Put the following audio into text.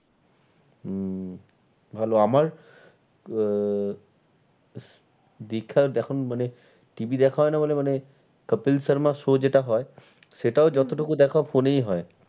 হুম ভালো আমার আহ এখন মানে TV দেখা হয় না বলে মানে কপিল শর্মা show যেটা হয় সেটাও যত টুকু দেখা phone এই হয়।